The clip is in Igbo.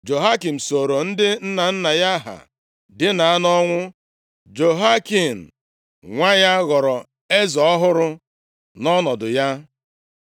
Jehoiakim sooro ndị nna nna ya ha dina nʼọnwụ. Jehoiakin nwa ya ghọrọ eze ọhụrụ nʼọnọdụ ya.